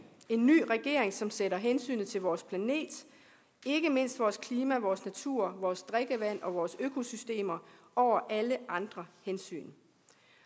en ny regering som sætter hensynet til vores planet ikke mindst vores klima vores natur vores drikkevand og vores økosystemer over alle andre hensyn